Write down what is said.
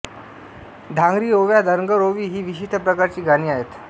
धांगरी ओव्या धनगर ओवी ही विशिष्ट प्रकारची गाणी आहेत